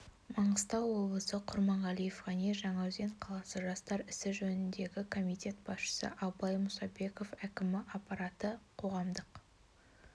маңғыстау облысы құрманғалиев ғани жаңаөзен қаласы жастар ісі жөніндегі комитет басшысы ібылай мұсабеков әкімі аппараты қоғамдық